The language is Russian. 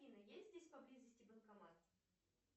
афина есть здесь поблизости банкомат